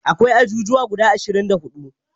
Akwai ajujuwa guda ashirin da huɗu